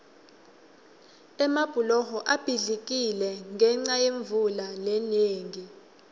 emabhuloho abhidlikile ngenca yemvula lenengi